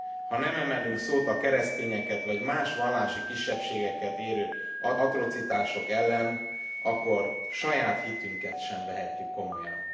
Ha nem emelünk szót a keresztényeket vagy más vallási kisebbségeket érintő atrocitások ellen, akkor saját hitünket sem vehetjük komolyan.